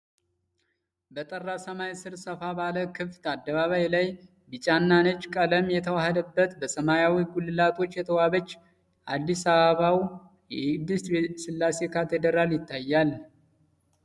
በጠራ ሰማይ ሥር፣ ሰፋ ባለ ክፍት አደባባይ ላይ ቢጫና ነጭ ቀለም የተዋሀደበት፣ በሰማያዊ ጉልላቶች የተዋበች የአዲስ አበባው የቅድስት ሥላሴ ካቴድራል ይታያል።